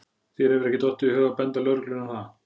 Þér hefur ekki dottið í hug að benda lögreglunni á það?